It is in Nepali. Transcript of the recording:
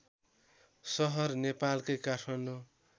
सहर नेपालकै काठमाडौँ